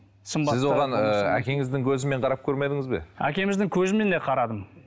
сіз оған ыыы әкеңіздің көзімен қарап көрмедіңіз бе әкеміздің көзімен де қарадым